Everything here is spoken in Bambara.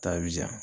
Ta bi janya